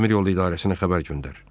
Dəmiryol idarəsinə xəbər göndər.